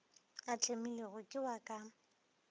a tlemilwego ke wa ka